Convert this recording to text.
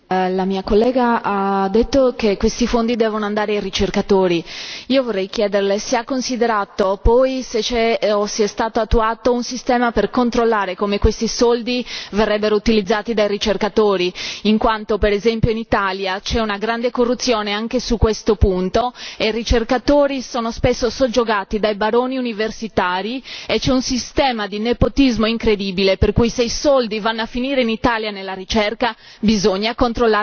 Signor Presidente, onorevoli colleghi, la mia collega ha detto che questi fondi devono andare ai ricercatori. Io vorrei chiederle se ha considerato poi se c'è o se è stato attuato un sistema per controllare come questi soldi verrebbero utilizzati dai ricercatori, in quanto per esempio in Italia c'è una grande corruzione anche su questo punto e i ricercatori sono spesso soggiogati dai baroni universitari e c'è un sistema di nepotismo incredibile, per cui se i soldi vanno a finire in Italia nella ricerca bisogna controllarli bene e chiedere efficacia e risultati.